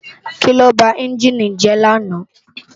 Kiló bá ènjini jè làná?